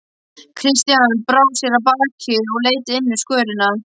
Christian brá sér af baki og leit inn um skörina.